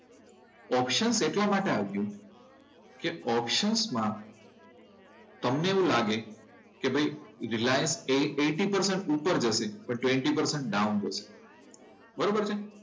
Option એટલા માટે આવ્યો, કે ઓપ્શન માં એટલા માટે આવ્યો કે ઓપ્શન્સમાં તમને એવું લાગે કે ભાઈ રિલાયન્સ એ એઈટી પર્સન્ટ ઉપર જશે ટ્વેન્ટી પર્સન્ટ ડાઉન બરોબર છે.